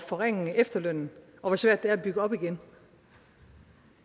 forringe efterlønnen og hvor svært at bygge op igen